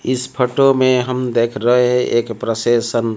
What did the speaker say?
इस फोटो में हम देख रहे है एक प्रशेसन--